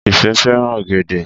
Ìfẹ́ fẹ́ràn ọ̀gẹ̀dẹ̀